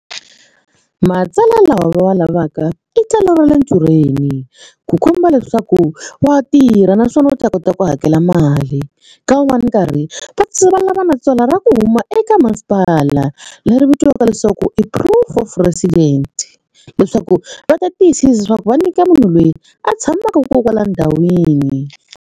Matsalwa lawa va wa lavaka i tsalwa ra le ntirhweni ku komba leswaku wa tirha naswona u ta kota ku hakela mali ka wun'wana karhi va lava na tswala ra ku huma eka masipala leri vitiwaka leswaku i Proof of resident leswaku va ta tiyisisa leswaku va nyika munhu loyi a tshamaka kona kwala ndhawini.